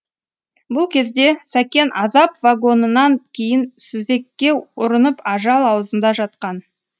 бұл кезде сәкен азап вагонынан кейін сүзекке ұрынып ажал аузында жатқан